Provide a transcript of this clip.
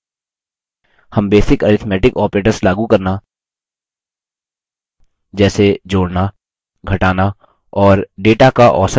हम basic arithmetic operators लागू करना जैसे जोड़ना घटाना और data का औसत निकालना पहले ही सीख चुके हैं